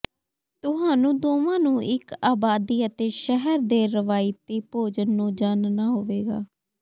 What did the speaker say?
ਤੁਹਾਨੂੰ ਦੋਵਾਂ ਨੂੰ ਇੱਕ ਆਬਾਦੀ ਅਤੇ ਸ਼ਹਿਰ ਦੇ ਰਵਾਇਤੀ ਭੋਜਨ ਨੂੰ ਜਾਣਨਾ ਹੋਵੇਗਾ